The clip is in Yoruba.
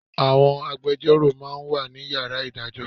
Àwọn agbejọ́rò ma ń wà ní Yàrá ìdájọ́